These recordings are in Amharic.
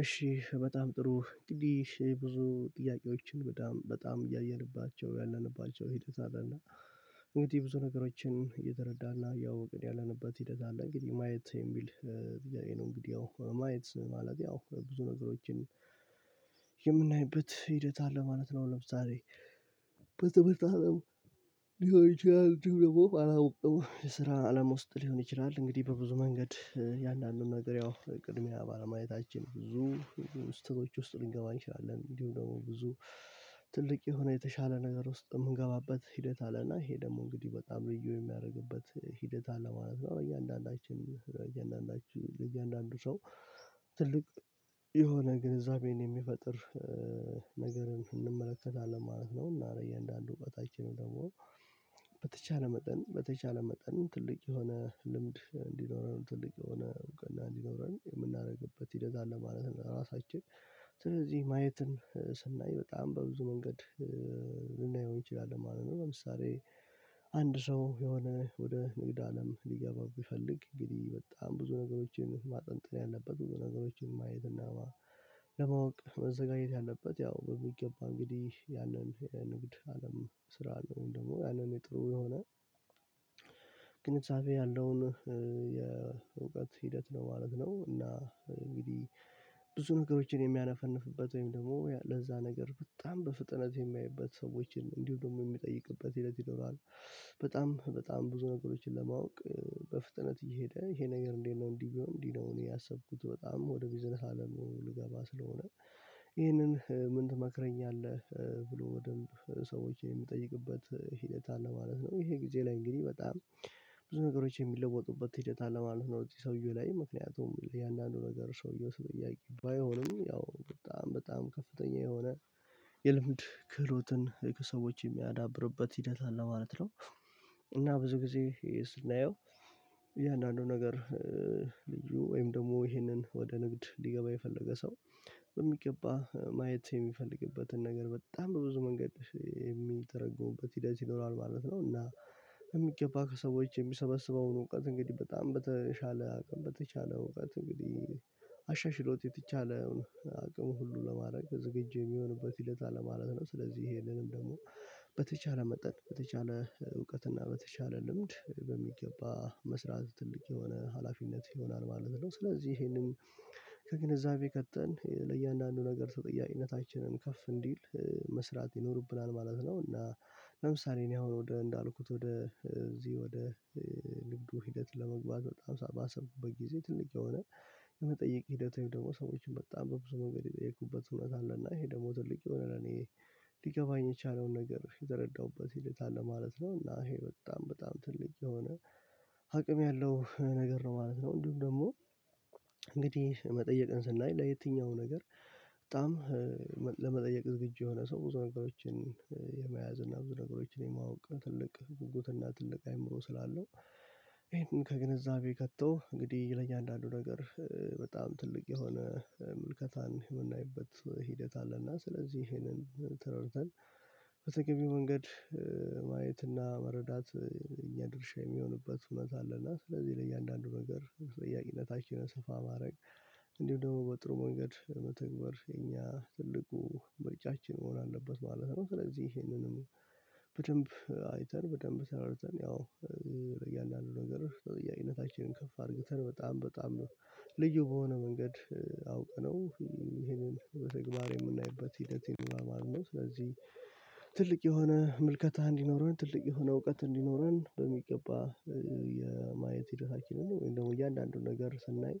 እሺ በጣም ጥሩ እንግዲህ ብዙ ጥያቄዎችን በጣም በጣም እያየንባቸው ያለንባቸው ሂደት አለና። እንግዲህ ብዙ ነገሮችን እየተረዳና ያው እንግዲህ ያለንበት ሂደት አለ እንግዲህ ማየት የሚል እንግዲህ ነው ማየት ማለት ያው ብዙ ነገሮችን የምናይበት ሂደት አለ ማለት ነው። ለምሳሌ በትምህርት አለም ሊሆን ይችላል ድምር አላውቅም የስራ አለም ውስጥ ሊሆን ይችላል እንግዲህ በብዙ መንገድ የአንዳንዱን ነገር ያው ቅድሚያ ባለማየታችን ብዙ ስትሮች ውስጥ ልንገባ እንችላለን። እንዲሁ ደግሞ ብዙ ትልቅ የሆነ የተሻለ ነገር ውስጥ የምንገባበት ሂደት አለና ይሄ ደግሞ እንግዲህ በጣም ልዩ የሚያደርግበት ሂደት አለ ማለት ነው። እያንዳንዳችን እያንዳንዳችን ሰው ትልቅ የሆነ ግንዛቤን የሚፈጥር ነገርን ስንመለከት አለ ማለት ነው። እና እንደአንዱ እውቀታችንም ደግሞ በተቻለ መጠን በተቻለ መጠን ትልቅ የሆነ ልምድ እንዲኖረን ትልቅ የሆነ እውቅና እንዲኖረን የምናደርግበት ሂደት ለማለት ነው ለራሳችን ስለዚህ ማየትን ስናይ በጣም በብዙ መንገድ ልናየው እንችላለን ማለት ነው። ለምሳሌ አንድ ሰው የሆነ ወደ ንግድ አለም ሊገባ ቢፈልግ እንግዲህ በጣም ብዙ ነገሮችን ማጠንጠን ያለበት ብዙ ነገሮችን ማየት እና ለማወቅ መዘጋጀት ያለበት ያው በሚገባ እንግዲህ ያንን ንግድ አለም ስራ ነው ደግሞ ያንን የጥሩ የሆነ ግንዛቤ ያለውን የእውቀት ሂደት ነው ማለት ነው። እና እንግዲህ ብዙ ነገሮችን የሚያነፈንፍበት ወይም ደግሞ ለዛ ነገር በጣም በፍጥነት የሚያይበት ሰዎችን እንዲሁ ደግሞ የሚጠይቅበት ሂደት ይኖራል። በጣም በጣም ብዙ ነገሮችን ለማወቅ በፍጥነት እየሄደ ይሄ ነገር እንዴት ነው እንዲህ ነው እንዲህ ነው እኔ ያሰብኩት በጣም ወደ ቢዝነስ አለሙ ልገባ ስለሆነ ይሄንን ምን ትመክረኛለህ ብሎ ወደንብ ሰዎች የሚጠይቅበት ሂደት አለ ማለት ነው። ይሄ ጊዜ ላይ እንግዲህ በጣም ብዙ ነገሮች የሚለወጡበት ሂደት አለ ማለት ነው። የሰውየው ላይ ምክንያቱም የእያንዳንዱ ነገር ሰውየው ሰው ጠያቂ ባይሆንም ያው በጣም በጣም ከፍተኛ የሆነ የልምድ ክህሎትን ከሰዎች የሚያዳብርበት ሂደት አለ ማለት ነው። እና ብዙ ጊዜ ስናየው የእያንዳንዱ ነገር ልዩ ወይም ደግሞ ይሄንን ወደ ንግድ ሊገባ የፈለገ ሰው በሚገባ ማየት የሚፈልግበትን ነገር በጣም በብዙ መንገድ የሚተረገሙበት ሂደት ይኖራል ማለት ነው። እና የሚገባ ከሰዎች የሚሰበስበውን እውቀት እንግዲህ በጣም በተሻለ አቅም በተቻለ እውቀት እንግዲህ አሻሽሎት የተቻለውን አቅም ሁሉ ለማድረግ ዝግጁ የሚሆንበት ሂደት አለ ማለት ነው። ስለዚህ ይሄንንም ደግሞ በተቻለ መጠን በተሻለ እውቀት እና በተሻለ ልምድ በሚገባ መስራት ትልቅ የሆነ ሀላፊነት ይሆናል ማለት ነው። ስለዚህ ይሄንን ከግንዛቤ ከተን ለእያንዳንዱ ነገር ተጠያቂነታችንን ከፍ እንዲል መስራት ይኖርብናል ማለት ነው። እና ለምሳሌ እኔ አሁን ወደ እንዳልኩት ወደ እዚህ ወደ ንግዱ ሂደት ለመግባት በጣም ሳባሰብኩ በጊዜ ትልቅ የሆነ የመጠየቅ ሂደት ወይም ደግሞ ሰዎችን በጣም በብዙ መንገድ የጠየኩበት እውነት አለና ይሄ ደግሞ ትልቅ የሆነ ለኔ ሊገባኝ የቻለውን ነገር የተረዳሁበት ሂደት አለ ማለት ነው። እና ይሄ በጣም በጣም ትልቅ የሆነ አቅም ያለው ነገር ነው ማለት ነው። እንዲሁም ደግሞ እንግዲህ መጠየቅን ስናይ ለየትኛው ነገር በጣም ለመጠየቅ ዝግጁ የሆነ ሰው ብዙ ነገሮችን የመያዝ እና ብዙ ነገሮችን የማወቅ ትልቅ ጉጉት እና ትልቅ አእምሮ ስላለው። ይሄንን ከግንዛቤ ከቶ እንግዲህ ይለኛል አንዳንዱ ነገር በጣም ትልቅ የሆነ ምልከታን የምናይበት ሂደት አለና ስለዚህ ይሄንን ተረድተን በተገቢው መንገድ ማየትና መረዳት እኛ ድርሻ የሚሆንበት እውበት አለ እና ስለዚህ ለእያንዳንዱ ነገር ጥያቄ ነታኪነ ስፋ ማድረግ እንዲሁ ደግሞ በጥሩ መንገድ መተግበር የኛ ትልቁ ብልጫችን መሆን አለበት ማለት ነው። ስለዚህ ይሄንንም በደንብ አይተን በደንብ ተሰርተን ያው ለእያንዳንዱ ነገር ተጠያቂነታችንን ከፍ አድርግተን በጣም በጣም ነው ልዩ በሆነ መንገድ አውቀነው ይሄንን በተግባር የምናይበት ሂደት ይኑርራል ማለት ነው። ስለዚህ ትልቅ የሆነ ምልከታ እንዲኖረን ትልቅ የሆነ እውቀት እንዲኖረን በሚገባ የማየት ማየት ሂደታችንን ወይም ደግሞ እያንዳንዱን ነገር ስናይ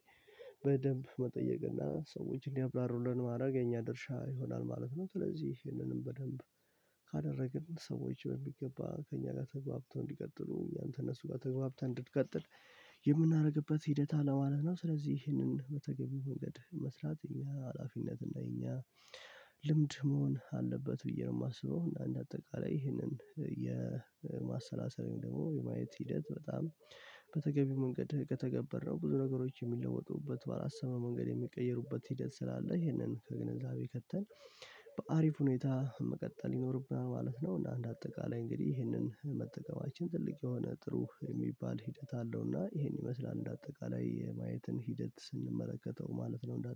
በደንብ መጠየቅ እና ሰዎችን እንዲያብራሩልን ማድረግ የኛ ድርሻ ይሆናል ማለት ነው። ስለዚህ ይህንንም በደንብ ካደረግን ሰዎች በሚገባ ከእኛ ጋር ተግባብተን እንዲቀጥሉ እኛን ከእነሱ ጋር ተግባብተን እንድንቀጥል የምናደርግበት ሂደት አለ ማለት ነው። ስለዚህ ይህንን በተገቢው መንገድ መስራት እኛ ሀላፊነት እና የኛ ልምድ መሆን አለበት ብዬ ነው የማስበው። አንድ አጠቃላይ ይህንን የማሰላሰለኝ ደግሞ የማየት ሂደት በጣም በተገቢው መንገድ ከተገበረው ብዙ ነገሮች የሚለወጡበት ባለሰብነው መንገድ የሚቀይሩበት ሂደት ስላለ ይህንን ከግንዛቤ ከተን በአሪፍ ሁኔታ መቀጠል ይኖርብናል ማለት ነው። እና እንደ አጠቃላይ እንግዲህ ይህንን መጠቀማችን ትልቅ የሆነ ጥሩ የሚባል ሂደት አለው። እና ይሄን ይመስላል እንደ አጠቃላይ የማየትን ሂደት ስንመለከተው ማለት ነው። እንደ